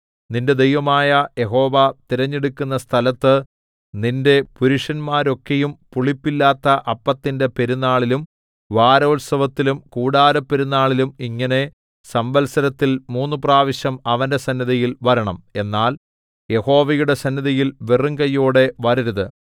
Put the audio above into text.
നിന്റെ ദൈവമായ യഹോവ തിരഞ്ഞെടുക്കുന്ന സ്ഥലത്ത് നിന്റെ പുരുഷന്മാരൊക്കെയും പുളിപ്പില്ലാത്ത അപ്പത്തിന്റെ പെരുനാളിലും വാരോത്സവത്തിലും കൂടാരപ്പെരുനാളിലും ഇങ്ങനെ സംവത്സരത്തിൽ മൂന്നുപ്രാവശ്യം അവന്റെ സന്നിധിയിൽ വരണം എന്നാൽ യഹോവയുടെ സന്നിധിയിൽ വെറും കയ്യോടെ വരരുത്